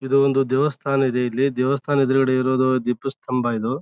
ಇದು ಒಂದು ದೇವಸ್ಥಾನ ಇದೆ .ಇಲ್ಲಿ ದೇವಸ್ಥಾನದ ಎದುರು ಗಡೆ ಇರೋದು ದ್ವೀಪ ಸ್ತಮ್ಬಾ ಇದು.